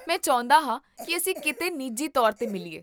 ਮੈਂ ਚਾਹੁੰਦਾ ਹਾਂ ਕੀ ਅਸੀਂ ਕਿਤੇ ਨਿੱਜੀ ਤੌਰ 'ਤੇ ਮਿਲੀਏ